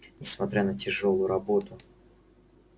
несмотря на тяжёлую работу